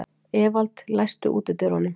Evald, læstu útidyrunum.